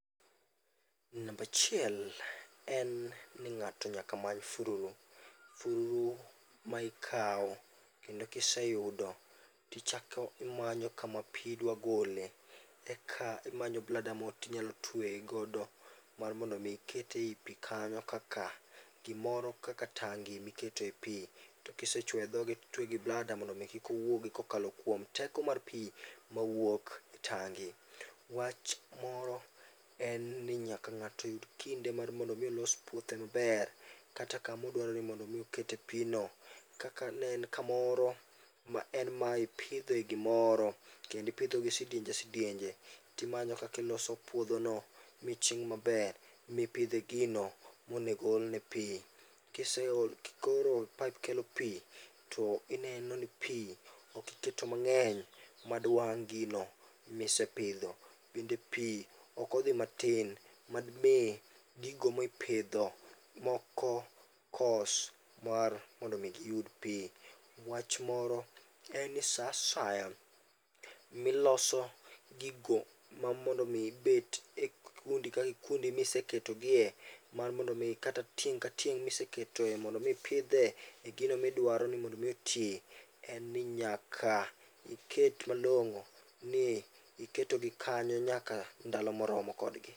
Namba achiel en ni ng'ato nyaka many fururu. Fururu ma ikawo kendo kiseyudo to ichako imanyo kama pi idwa gole. Eka imanyo blada moro to inyalo tweyo godo mar mondo mi ikete ei pi kanyo kaka gimoro kaka tangi mikete pi, to kisechuoyo e dhoge to itweyo gi blada mondo mi kik owuogi kokalo kuom teko mar pi mawuok e tangi. Wach moro en ni nyaka ng'ato oyud kinde mondo mi olos puothe maber, kata kama odwaro mondo mi oket pino. Ka ka en kamoro ma en ma ipidhe gimoro kendo ipidho gi sidienje sidienje, to imanyo kaka iloso puodhono ma iching maber mipidhe gino monego olne pi. Koro paip kelo pi to ineno ni pi ok iketo mang'eny madiwang' gino misepidho. Bende pi ok odhi matin madimi gigo mipidho moko kos mar mondo mi giyud pi. Wach moro en ni saa asaya miloso gigo ma mondo mi gibet kikundi ka kikundi miseketogie mar mondo mi kata tieng' ka tieng' miseketogie mondo mi ipidhe gino midwaro ni mondo mi oti en ni nyaka iket malong'o ni iketogi kanyo nyaka ndalo moromo kodgi.